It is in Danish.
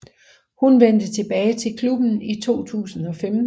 Hun vendte tilbage til klubben i 2015